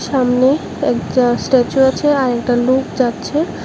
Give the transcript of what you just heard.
সামনে একটা স্ট্যাচু আছে আর একটা লুক যাচ্ছে।